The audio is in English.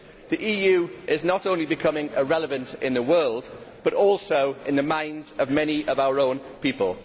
The EU is not only becoming irrelevant in the world, but also in the minds of many of our own people.